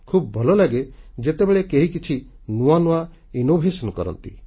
ଖୁବ୍ ଭଲ ଲାଗେ ଯେତେବେଳେ କେହି କିଛି ନୂଆ ନୂଆ ସୃଜନ ଇନୋଭେସନ କରନ୍ତି